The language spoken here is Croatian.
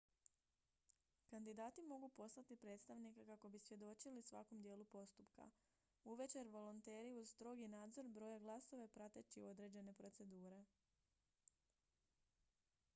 kandidati mogu poslati predstavnike kako bi svjedočili svakom dijelu postupka uvečer volonteri uz strogi nadzor broje glasove prateći određene procedure